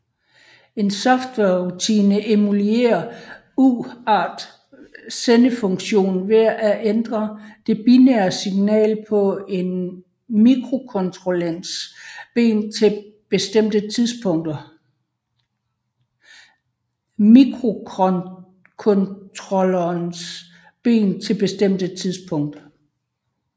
En softwarerutine emulerer UART sendefunktionen ved at ændre det binære signal på et af mikrocontrollerens ben til bestemte tidspunkter